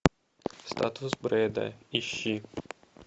статус брэда ищи